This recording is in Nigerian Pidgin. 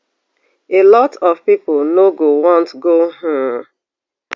a lot of pipo no go want go um